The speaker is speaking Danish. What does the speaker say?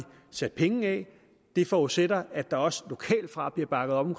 sat penge af det forudsætter at der også lokalt fra bliver bakket op